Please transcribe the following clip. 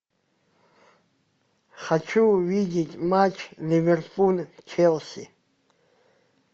хочу увидеть матч ливерпуль челси